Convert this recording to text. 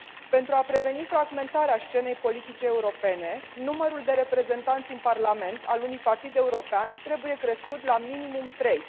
Pentru a preveni fragmentarea scenei politice europene, numărul de reprezentanți în Parlament al unui partid european trebuie crescut la minimum trei.